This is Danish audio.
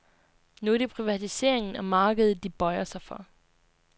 Nu er det privatiseringen og markedet de bøjer sig for.